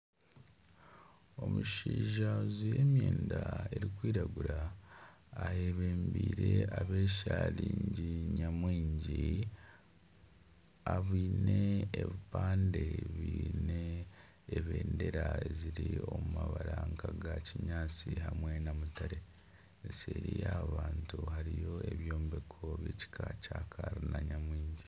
Omushaija ajwaire emyenda erikwiragura ayebembeire abeesharingi nyamwingi aine ebipande biine ebendera ziri omu mabara nkaga kinyaatsi hamwe na mutare eseeri yaaba bantu hariyo ebyombeko byekika kya kalina.